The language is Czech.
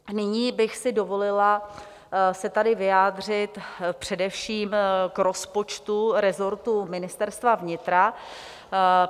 Nyní bych si dovolila se tady vyjádřit především k rozpočtu resortu Ministerstva vnitra.